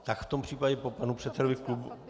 Tak v tom případě po panu předsedovi klubu.